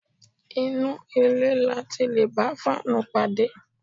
Inú ilé ni a ti lè bá fáànù pàdé